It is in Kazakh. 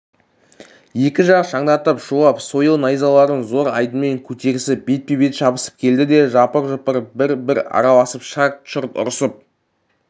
екі жақ шаңдатып шулап сойыл найзаларын зор айдынмен көтерісіп бетпе-бет шабысып келді де жапыр-жұпыр бір-бір араласып шарт-шұрт ұрысып